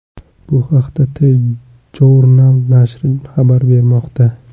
Bu haqda TJournal nashri xabar bermoqda .